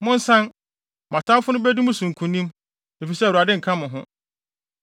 Monsan, mo atamfo no bedi mo so nkonim, efisɛ Awurade nka mo ho.